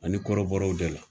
Ani kɔrɔbɔraw de la.